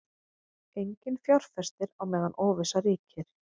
Enginn fjárfestir á meðan óvissa ríkir